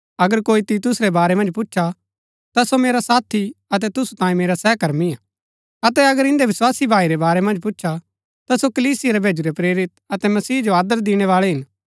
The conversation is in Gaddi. अगर कोई तीतुस रै बारै मन्ज पुछा ता सो मेरा साथी अतै तुसु तांयें मेरा सहकर्मी हा अतै अगर इन्दै विस्वासी भाई रै बारै मन्ज पूछा ता सो कलीसिया रै भैजुरै प्रेरित अतै मसीह जो आदर दिणैबाळै हिन